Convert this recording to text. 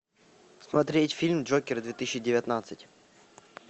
смотреть фильм джокер две тысячи девятнадцать